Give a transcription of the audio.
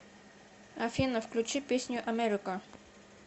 афина включи песню америка